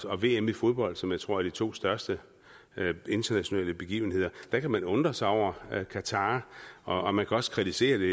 og vm i fodbold som jeg tror er de to største internationale begivenheder kan man undre sig over qatar og man kan også kritisere det